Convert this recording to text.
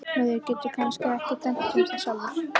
Maður getur kannski ekki dæmt um það sjálfur.